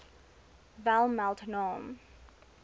wel meld naam